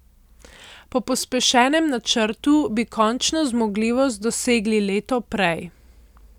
Po pospešenem načrtu bi končno zmogljivost dosegli leto prej.